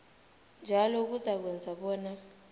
njalo kuzakwenza bona